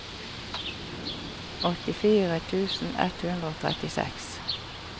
åttifire tusen ett hundre og trettiseks